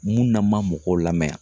Mun na ma mɔgɔw lamɛn